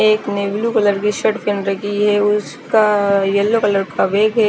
एक navy blue colour की shirt pen रखी है उसका येलो कलर का बेग है।